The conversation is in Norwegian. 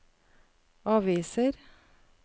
aviser